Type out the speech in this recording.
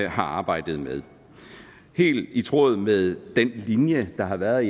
har arbejdet med helt i tråd med den linje der har været